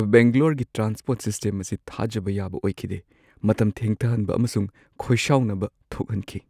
ꯕꯦꯡꯒ꯭ꯂꯣꯔꯒꯤ transport system ꯑꯁꯤ ꯊꯥꯖꯕ ꯌꯥꯕ ꯑꯣꯏꯈꯤꯗꯦ, ꯃꯇꯝ ꯊꯦꯡꯊꯍꯟꯕ ꯑꯃꯁꯨꯡ ꯈꯣꯏꯁꯥꯎꯅꯕ ꯊꯣꯛꯍꯟꯈꯤ ꯫